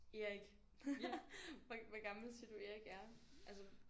Erik hvor hvor gammel siger du Erik er altså